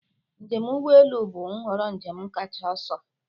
Njem ụgbọ elu bụ nhọrọ njem kacha ọsọ.